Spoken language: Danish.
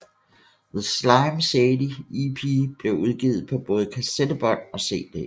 The Slim Shady EP blev udgivet på både kassettebånd og CD